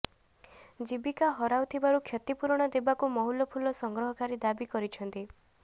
ଜୀବିକା ହରାଉଥିବାରୁ କ୍ଷତିପୂରଣ ଦେବାକୁ ମହୁଲଫୁଲ ସଂଗ୍ରହକାରୀ ଦାବି କରିଛନ୍ତି